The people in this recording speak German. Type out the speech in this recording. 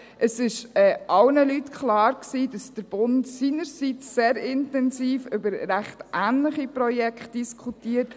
Es war allen Leuten klar, dass der Bund seinerseits sehr intensiv über ziemlich ähnliche Projekte diskutiert.